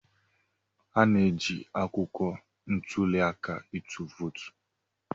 A na-eji akwụkwọ ntuli aka ịtụ vootu.